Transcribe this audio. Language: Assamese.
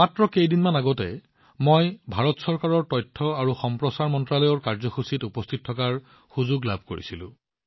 মাত্ৰ কেইদিনমান আগতে মই ভাৰত চৰকাৰৰ তথ্য আৰু সম্প্ৰচাৰ মন্ত্ৰালয়ৰ কাৰ্যসূচীত উপস্থিত থকাৰ সুযোগ পাইছিলো